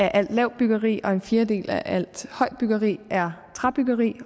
alt lavt byggeri og en fjerdedel af alt højt byggeri er træbyggeri